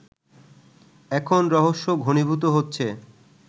এখন রহস্য ঘনীভূত হচ্ছে